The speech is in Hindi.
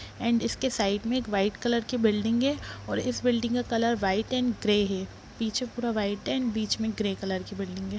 एंड इसके साइड में एक वाइट कलर की बिल्डिंग है और इस बिल्डिंग का कलर वाइट एंड ग्रे है पीछे पुरा वाइट है बीच में ग्रे कलर की बिल्डिंग है।